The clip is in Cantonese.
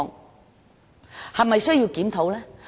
我們是否需要檢討呢？